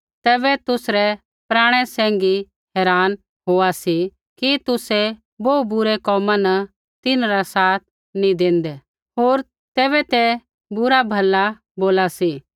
तैबै तुसरै पराणै सैंघी हैरान होआ सी कि तुसै बोहू बुरै कोमा न तिन्हरा साथ नी देंदै होर तैबै ते बुरा भला बोला सी